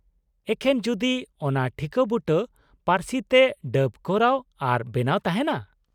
-ᱮᱠᱷᱮᱱ ᱡᱩᱫᱤ ᱚᱱᱟ ᱴᱷᱤᱠᱟ. ᱵᱩᱴᱟᱹ ᱯᱟ.ᱨᱥᱤ ᱛᱮ ᱰᱟᱵ ᱠᱚᱨᱟᱣ ᱟᱨ ᱵᱮᱱᱟᱣ ᱛᱟᱦᱮᱱᱟ ᱾